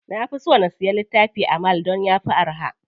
Na fi so na siya littifi a mall dan yafi araha.